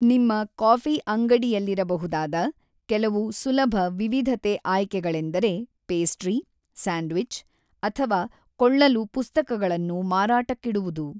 ನಿಮ್ಮ ಕಾಫಿಅಂಗಡಿಯಲ್ಲಿರಬಹುದಾದ ಕೆಲವು ಸುಲಭ ವಿವಿಧತೆ ಆಯ್ಕೆಗಳೆಂದರೆ ಪೇಸ್ಟ್ರಿ, ಸ್ಯಾಂಡ್ವಿಚ್ ಅಥವಾ ಕೊಳ್ಳಲು ಪುಸ್ತಕಗಳನ್ನು ಮಾರಾಟಕ್ಕಿಡುವುದು .